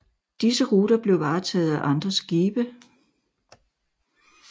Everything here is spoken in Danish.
Disse ruter blev varetaget af andre skibe